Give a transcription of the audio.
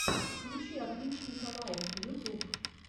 включи отличника лайф ютуб